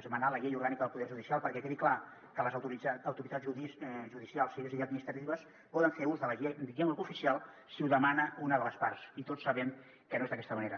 esmenar la llei orgànica del poder judicial perquè quedi clar que les autoritats judicials civils i administratives poden fer ús de la llengua cooficial si ho demana una de les parts i tots sabem que no és d’aquesta manera